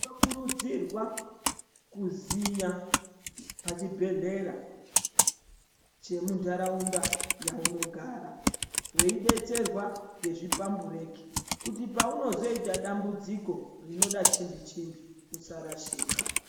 Tino kurudzirwa kuziya pa chi bhedhlera che mundaraunda yauno gara wei betserwa nezvi pambureki kuti paunozoita dambudziko rinoda chimbi chimbi usa rashika.